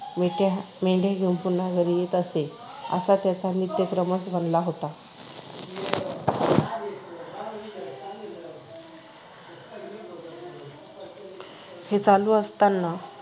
मेंढ्या घेऊन पुन्हा घरी येत असे. असा त्याचा नित्यक्रमच बनला होता. हे चालू असतांना